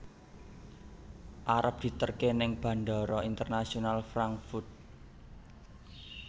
Arep diterke ning Bandara Internasional Frankfurt